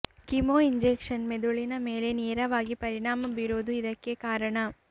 chemo injection ಮೆದುಳಿನ ಮೇಲೆ ನೇರವಾಗಿ ಪರಿಣಾಮ ಬೀರುವುದು ಇದಕ್ಕೆ ಕಾರಣ